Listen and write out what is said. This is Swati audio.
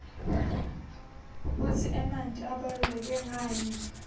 kutsi emanti abaluleke nqani